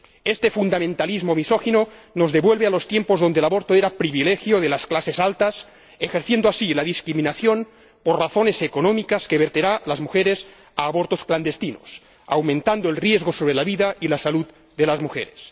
Este fundamentalismo misógino nos devuelve a los tiempos en los que el aborto era privilegio de las clases altas, creando así una discriminación por razones económicas que conducirá a las mujeres a realizar abortos clandestinos, aumentando el riesgo sobre la vida y la salud de las mujeres.